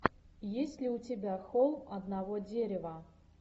есть ли у тебя холм одного дерева